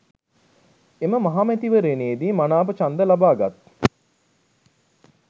එම මහ මැතිවරණයේදි මනාප ඡන්ද ලබාගත්